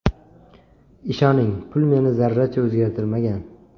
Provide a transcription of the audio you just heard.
Ishoning, pul meni zarracha o‘zgartirmagan.